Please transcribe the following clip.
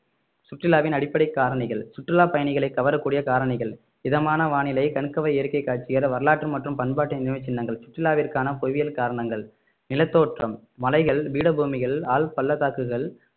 சுற்றுலாவின் அடிப்படைக் காரணிகள் சுற்றுலா பயணிகளை கவரக்கூடிய காரணிகள் இதமான வானிலை கணுகவர் இயற்கை காட்சிகள் வரலாற்று மற்றும் பண்பாட்டு நினைவுச் சின்னங்கள் சுற்றுலாவிற்கான புவியியல் காரணங்கள் நிலத்தோற்றம் மலைகள் பீடபூமிகள் ஆழ்பள்ளத்தாக்குகள்